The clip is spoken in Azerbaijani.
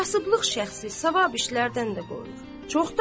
Kasıblıq şəxsi savab işlərdən də qoyur.